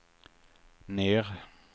ner